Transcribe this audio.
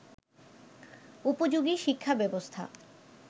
উপযোগী শিক্ষাব্যবস্থা